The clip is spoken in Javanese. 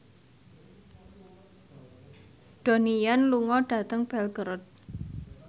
Donnie Yan lunga dhateng Belgorod